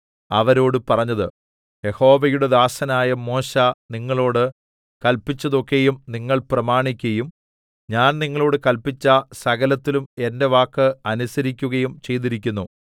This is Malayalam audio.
അവരോട് പറഞ്ഞത് യഹോവയുടെ ദാസനായ മോശെ നിങ്ങളോട് കല്പിച്ചതൊക്കെയും നിങ്ങൾ പ്രമാണിക്കയും ഞാൻ നിങ്ങളോട് കല്പിച്ച സകലത്തിലും എന്റെ വാക്ക് അനുസരിക്കുകയും ചെയ്തിരിക്കുന്നു